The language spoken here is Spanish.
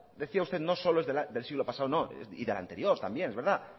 decía usted no solo es del siglo pasado no y del anterior también es verdad